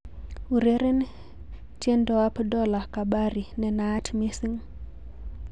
Ureren tiendoab Dola Kabari nenaat mising'